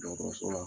Dɔgɔtɔrɔso la